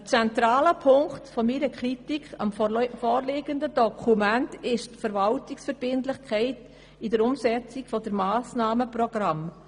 Ein zentraler Punkt meiner Kritik am vorliegenden Dokument ist die Verwaltungsverbindlichkeit in der Umsetzung des Massnahmenprogramms.